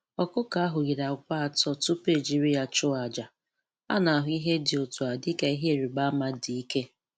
Ọkụkọ ahụ yiri àkwá atọ tupu e jiri ya chụọ àjà, a na-ahụ ihe dị otu a dị ka ihe ịrịba ama dị ike.